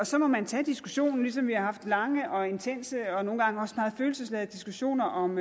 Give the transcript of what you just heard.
så må man tage diskussionen ligesom vi har haft lange og intense og nogle gange også meget følelsesladede diskussioner om